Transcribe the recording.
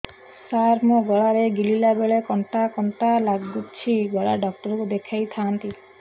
ସାର ମୋ ଗଳା ରେ ଗିଳିଲା ବେଲେ କଣ୍ଟା କଣ୍ଟା ଲାଗୁଛି ଗଳା ଡକ୍ଟର କୁ ଦେଖାଇ ଥାନ୍ତି